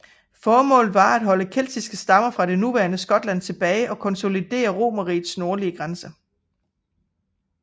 Formålet var at holde keltiske stammer fra det nuværende Skotland tilbage og konsolidere Romerrigets nordligste grænse